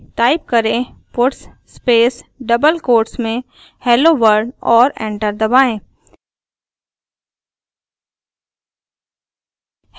type करें puts space double quotes में hello world और एंटर दबाएँ